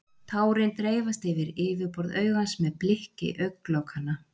Tárin dreifast yfir yfirborð augans með blikki augnlokanna.